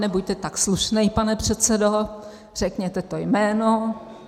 "Nebuďte tak slušnej, pane předsedo, řekněte to jméno."